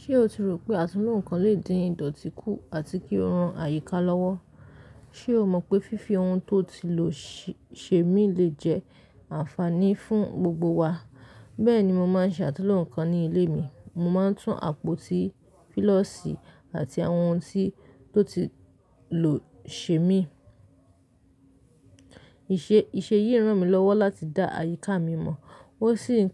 Ṣé o ti rò pé àtunlo ǹnkan lè dín ìdọ̀tí kù àti kí ó ran àyíká lọ́wọ́? Ṣé o mọ̀ pé fífi ohun tó ti lò ṣe mí lè jẹ́ ànfàní fún gbogbo wa. Bẹ́ẹ̀ni, mo máa ń ṣe àtunlò ǹnkan ní ilé mi. Mo máa ń tún àpótí fílọ́sì àti àwọn ohun tí tó ti lò ṣe mí. Ìṣe yìí ràn mí lọ́wọ́ láti dá àyíká mi mọ̀. Ó sì ń